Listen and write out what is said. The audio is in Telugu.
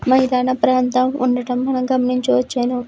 మైదాన ప్రాంతము ఉండటము మనం గమనించవచ్చును.